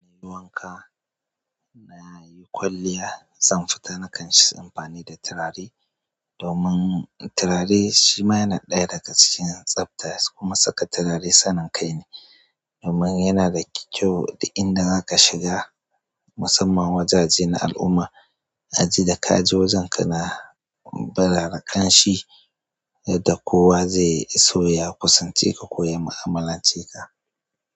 Na yi wanka, na yi kwalliya, zan fita nakan yi amfani da turare domin turare shima yana ɗaya daga cikin tsafta kuma saka turare sanin kai ne domin yana da kyau duk inda za ka shiga musamman wajajen na al'umma a ji da ka je wajen ka na burara kan shi yadda kowa zai so ya kusance ka, koya ma'amalance ka.